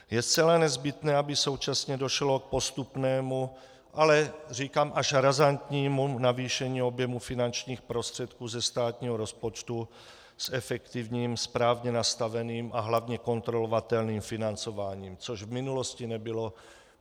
Je zcela nezbytné, aby současně došlo k postupnému, ale říkám, až razantnímu navýšení objemu finančních prostředků ze státního rozpočtu s efektivním, správně nastaveným a hlavně kontrolovatelným financováním, což v minulosti nebylo.